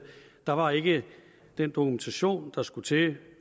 der var ikke den dokumentation der skulle til